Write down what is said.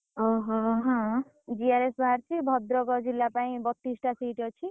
GRS ବାହାରିଛି ଭଦ୍ରକ ଜିଲ୍ଲା ପାଇଁ ବତିଶ ଟା seat ଅଛି।